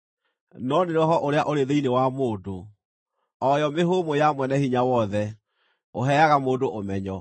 No nĩ roho ũrĩa ũrĩ thĩinĩ wa mũndũ, o yo mĩhũmũ ya Mwene-Hinya-Wothe, ũheaga mũndũ ũmenyo.